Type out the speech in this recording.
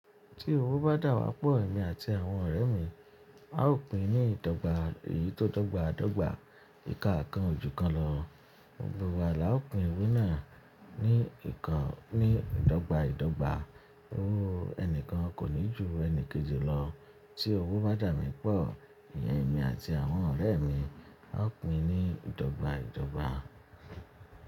Tí owó bá dà wà pọ̀ èmi àti àwọn ọ̀rẹ́ mi, a ó pín ni ìdọ́gba èyí tó dọ́gba dọ́gba ìkaà kan ojú kan lọ. Gbogbo wa la ó pín owó náà ní ìkà nì ìdọ́gba ìdọ́gba. Ooo ẹnìkan kò ní ju ẹni kejì lọ. Tí owó bá dà mí pọ̀, ìyẹn èmi àti àwọn ọ̀rẹ́ mi, a ó pín ni ìdọ́gba ìdọ́gba.